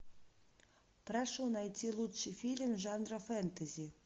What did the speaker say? прошу найти лучший фильм жанра фэнтези